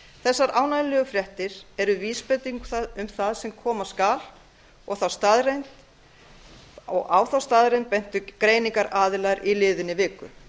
þessar ánægjulegu fréttir ár vísbending um það sem koma skal og á þá staðreynd bentu greiningaraðilar í liðinni viku